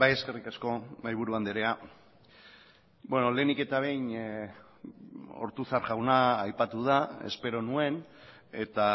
eskerrik asko mahaiburu andrea lehenik eta behin ortuzar jauna aipatu da espero nuen eta